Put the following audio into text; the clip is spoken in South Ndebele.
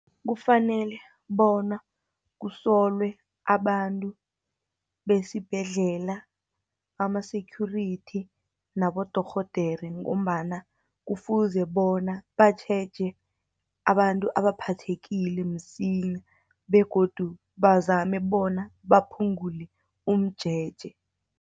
Kufanele bona kusolwe abantu besibhedlela, ama-security nabodorhodere, ngombana kufuze bona batjheje, abantu abaphathekile msinya, begodu bazame bona baphungule umjeje.